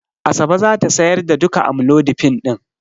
Asabe za ta sayar da duka amlodipine din.